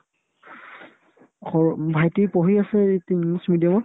সৰু ভাইটি পঢ়ি আছে এইত্ english medium ত